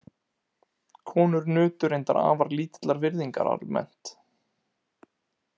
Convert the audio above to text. Konur nutu reyndar afar lítillar virðingar almennt.